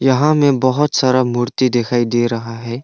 यहां में बहोत सारा मूर्ति दिखाई दे रहा है।